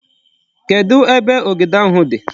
Kedu ebe ogede ahu di?